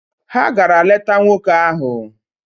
Ha gara leta nwoke ahụ.